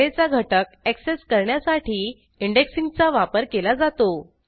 ऍरेचा घटक ऍक्सेस करण्यासाठी इंडेक्सिंग चा वापर केला जातो